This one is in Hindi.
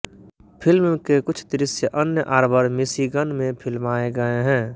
फिल्म के कुछ दृश्य अन्न आर्बर मिशिगन में फिल्माए गए हैं